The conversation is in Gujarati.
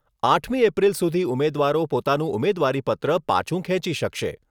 આઠમી એપ્રિલ સુધી ઉમેદવારો પોતાનું ઉમેદવારીપત્ર પાંછુ ખેંચી શકશે.